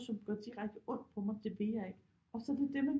Som gør direkte ondt på mig det vil jeg ikke og så er det det man